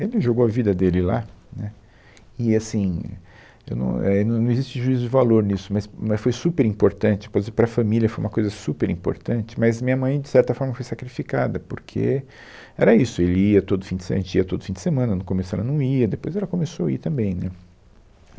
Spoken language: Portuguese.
Ele jogou a vida dele lá, né, e assim, eu não é não não existe juízo de valor nisso, mas mas foi super importante, pois para a família foi uma coisa super importante, mas minha mãe de certa forma foi sacrificada, porque era isso, ele ia todo fim de se, a gente ia todo fim de semana, no começo ela não ia, depois ela começou a ir também, né